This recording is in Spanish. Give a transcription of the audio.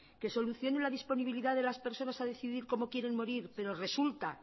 que solucione la disponibilidad de las personas a decidir cómo quieren morir pero resulta